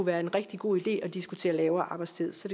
være en rigtig god idé at diskutere lavere arbejdstid så